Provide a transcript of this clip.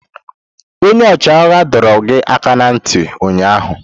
Onye ọchịagha dọrọ gị aka ná ntị ụnyaahụ!